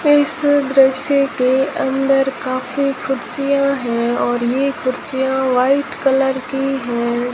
इस दृश्य के अंदर काफी खुरचिया है और ये खुरचिया व्हाइट कलर की है।